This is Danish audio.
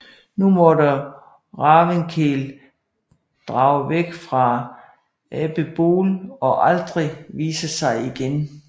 Nu måtte Ravnkel drage væk fra Adelból og aldrig vise sig igen